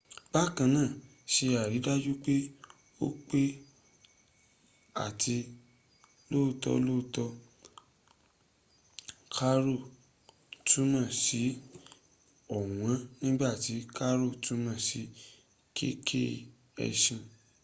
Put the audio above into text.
bákanáà se àrídájú pé o pe r ati rr lọ́tọ́ọ̀tọ̀ caro túmọ̀ sí ọ̀wọ́n nígbàtí carro túmọ̀ sí kẹ̀kẹ́ ẹṣin